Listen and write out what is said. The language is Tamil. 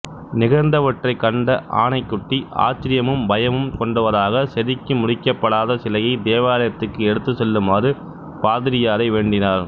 நிகழ்ந்தவற்றைக் கண்ட ஆனைக்குட்டி ஆச்சரியமும் பயமும் கொண்டவராக செதுக்கி முடிக்கப்படாத சிலையைத் தேவாலயத்துக்கு எடுத்துச் செல்லுமாறு பாதிரியாரை வேண்டினார்